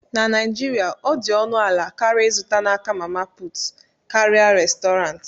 na Naijiria, ọ dị ọnụ ala karịa ịzụta n'aka "mama put" karịa Restọrantị